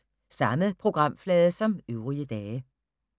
Samme programflade som øvrige dage